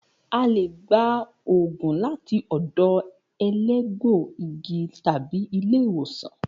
A le gba òògùn láti ọ̀dọ̀ elégbò igi tàbi ilé ìwòsàn